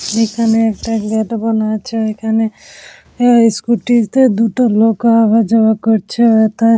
এখানে একটা গেট বানা আছে এখানে অ্যা স্কুটি -তে দুটো লোক আওয়া যাওয়া করছে এতে--